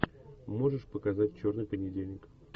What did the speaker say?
можешь показать черный понедельник